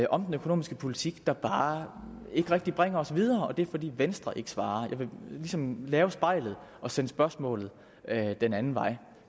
om den økonomiske politik der bare ikke rigtig bringer os videre og det er fordi venstre ikke svarer jeg vil ligesom lave spejlet og sende spørgsmålet den anden vej